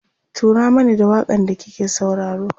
turo Mani da waƙan da kike sauraro